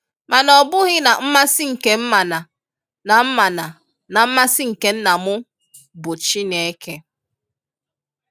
Mana ọ bughi na nmasi nke m mana na m mana na nmasi nke Nna m bụ Chineke.”